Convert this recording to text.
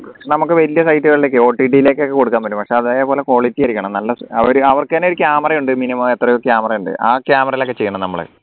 നമക്ക് വലിയ site കളിലേക്ക് OTT ലേക്ക് ഒക്കെ കൊടുക്കാൻ പറ്റും പക്ഷേ അതേപോലെ quality ആയിരിക്കണം നല്ല അവർക്കെന്നെ ഒരു camera യുണ്ട് minimum എത്രയോ camera യുണ്ട് ആ camera യിലൊക്കെ ചെയ്യണം നമ്മൾ